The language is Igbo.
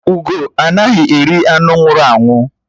Ugó anaghị eri anụ nwụrụ anwụ